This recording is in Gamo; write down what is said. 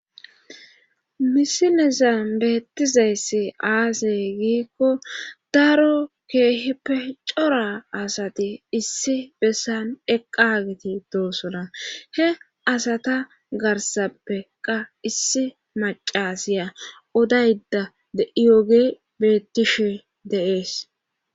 Misinezan beettizayssi aasey giikko daro keehi pe cora asati issi bessan eqqageti doosona he asata garsappeqa issi macasiya odayda diyooge bettishe deees.